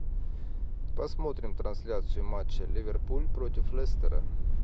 посмотрим трансляцию матча ливерпуль против лестера